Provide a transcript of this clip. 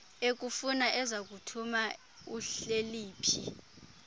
ekufuna ezakuthuma uhleliphi